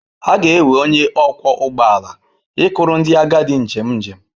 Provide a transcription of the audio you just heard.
Ga-ewe onye ọkwọ ụgbọ ala ikuru ndị agadi njem njem.